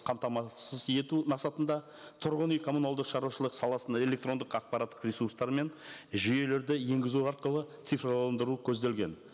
қамтамасыз ету мақсатында тұрғын үй коммуналдық шаруашылық саласын электрондық ақпараттық ресурстар мен жүйелерді енгізу арқылы цифрландыру көзделген